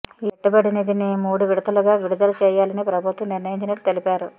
ఈ పెట్టబడి నిధిని మూడు విడతలుగా విడుదల చేయాలని ప్రభుత్వం నిర్ణయించినట్లు తెలిపారు